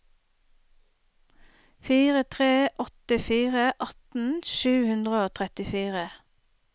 fire tre åtte fire atten sju hundre og trettifire